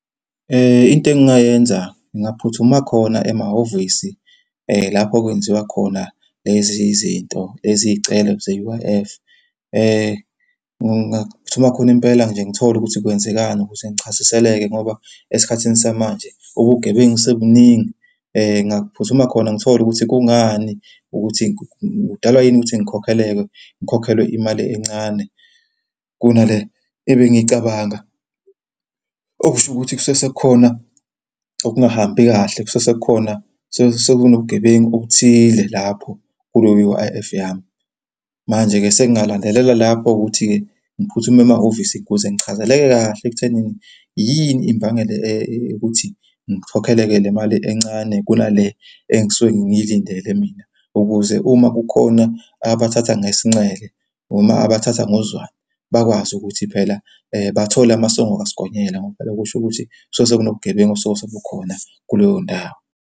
Into engingayenza ngingaphuthuma khona emahhovisi lapho okwenziwa khona lezi zinto eziyicelo ze-U_I_F. Ngingaphuthuma khona impela nje ngithole ukuthi kwenzekani ukuze ngichaziseleke ngoba esikhathini samanje ubugebengu sebubuningi. Ngingaphuthuma khona ngithole ukuthi kungani ukuthi kudalwa yini ukuthi ngikhokheleke, ngikhokhelwe imali encane kunale ebengiyicabanga. Okusho ukuthi kusuke sekukhona okungahambi kahle. Kusuke sekukhona, kusuke sekunobugebengu obuthize lapho kuleyo U_I_F yami. Manje-ke, sengingalandelela lapho ukuthi-ke ngiphuthume emahhovisi ukuze ngichazeleke kahle ekuthenini yini imbangela ukuthi ngikhokheleke le mali encane kunale engisuke ngiyilindele mina, ukuze uma kukhona abathatha ngesinxele noma abathatha ngozwane bakwazi ukuthi phela bathole amasongo kasigonyela ngoba phela kusho ukuthi kusuke sekunobugebengu osuke sebukhona kuleyo ndawo.